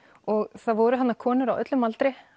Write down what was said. og það voru þarna konur á öllum aldri